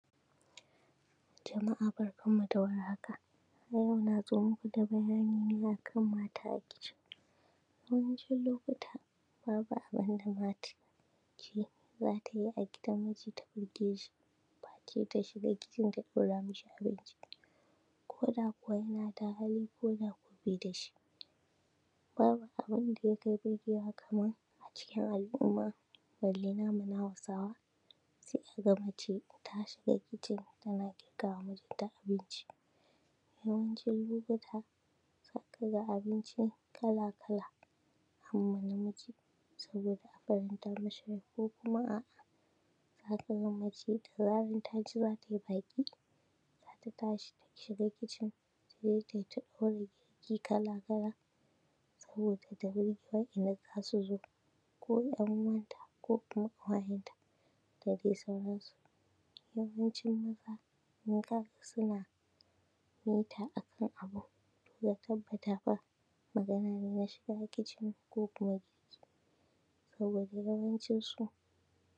tabbas naga kokum nafahimci akwai wanda mutane da sakamakon ƙari yanayin tsadar abinci yasa suka canza yanda suki cin abinci wasu a sakamakun abinci ya ƙakƙara kuɗi sun koma sun canza kalar abincin dasuke ci kokuma sun rage daga yanda suke ci ta inda yakasanci haka shine idan da mutun yaka iya cin abinci da nama ko kifi kokuma wani abun da zai ƙarawa abincin daɗi kokuma ya ƙarawa abincin lafiya yazamana cewa idan mutun yacin zai samu lafiya ayanzu sakamakon abinci ya ƙara kuɗi yasa mutane basa iya cin wannan abincin da nama kokuma da kifi kokuma dukan wani abun da zai sa abincin ya ƙara daɗi ya ƙara ginawa wanda zai ci kokuma mutumin da yaci abinci jiki a yanzu hakan baya yuwa wasu kuma ada sukan iya cin abinci so uku so huɗu a rana a sakamakon ƙara kuɗin abincin yasa yanzu sai dai suci so biyu koso ɗaya duka wadin nan a sakamakon abinci ya ƙara kuɗi a mai makon suci so uku koso huɗu dasuki ci ayanzu sai dai so biyu koso daya domin abunda suki dashi na kuɗi a hanu su ba lalle ya ishesu suci so uku ko so huɗu sai dai so biyu wannan acikin al'umma ba abu bane mai kyau kokuma abinda mutane suke so idan abinci yayi sauki al'umma zasu sama sauki idan kuma yayi tsada dukkan sauran al'amura da mutane sukiye shima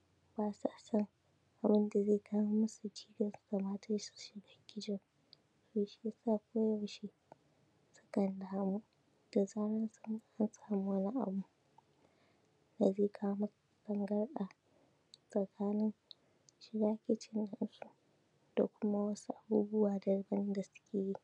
zai zamana yayi tsanani